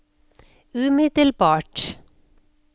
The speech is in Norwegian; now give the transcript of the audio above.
umiddelbart